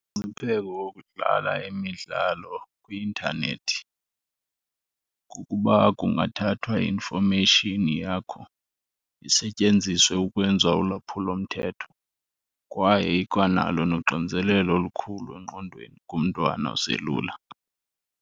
Umngcipheko wokudlala imidlalo kwi-intanethi kukuba kungathathwa i-information yakho isetyenziswe ukwenziwa ulwaphulomthetho kwaye ikwanalo noxinzelelo olukhulu engqondweni kumntwana oselula.